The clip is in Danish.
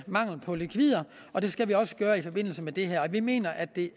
mangel på likvider og det skal vi også gøre i forbindelse med det her vi mener at det